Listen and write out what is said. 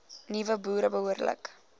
nuwe boere behoorlik